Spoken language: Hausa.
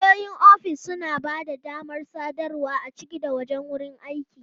Wayoyin ofis suna ba da damar sadarwa a ciki da wajen wurin aiki.